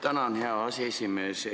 Tänan, hea aseesimees!